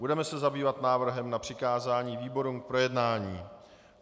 Budeme se zabývat návrhem na přikázání výborům k projednání.